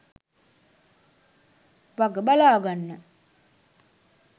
වග බලාගන්න.